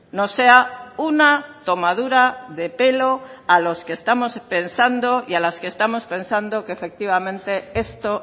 no sea una tomadura de pelo a los que estamos pensando y a las que estamos pensando que efectivamente esto